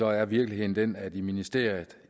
er virkeligheden den at man i ministeriet